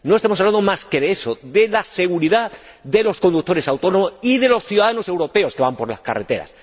No estamos hablando más que de eso, de la seguridad de los conductores autónomos y de los ciudadanos europeos que van por las carreteras.